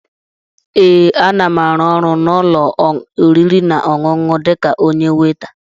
Ee, a na m árụ́ ọrụ n'ụ́lọ̀ oriri nà ọṅụṅụ a dịka onyé weita